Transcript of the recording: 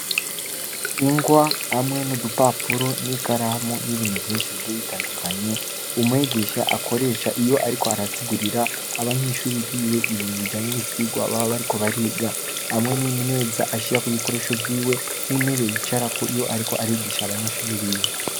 Ingwa hamwe n’udupapuro, n’ikaramu n’ibintu vyinshi bigiye bitandukanye, umwigisha akoresha iyo ariko arasigurira abanyeshuri biwe, ibintu bijanye n’ivyigwa baba bariko bariga; hamwe n’imeza ashirako ibikoresho vyiwe, n’intebe yicarako iyo ariko arigisha abanyeshuri biwe.